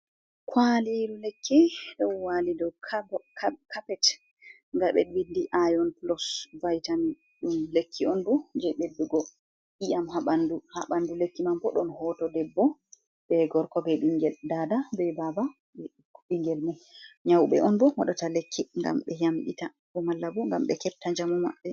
Kwaliru lekki ɗon wali dow kappet, nda ɓe windi ion plos vaitam, ɗum lekki on bo je ɓeddugo iyam ha ɓandu, lekki mambo ɗon hoto debbo, be gorko, be ɓingel, dada be baba, ɓingel, mo nyauɓe on bo moɗata lekki ngam ɓe yamɓita, bo malla bo ngam ɓe kepta njamu maɓɓe.